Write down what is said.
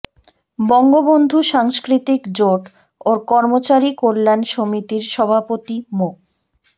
বঙ্গবন্ধু সাংস্কৃতিক জোট ও কর্মচারী কল্যাণ সমিতির সভাপতি মো